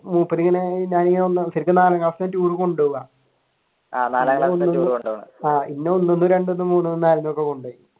മൂപ്പർ ഇങ്ങനെ ടൂർ കൊണ്ടുപോവുക പിന്നെ ഒന്നിന്നും രണ്ടീന്നും മൂന്നിന്നും നാലിൽനിന്നും ടൂർ കൊണ്ട് പോവും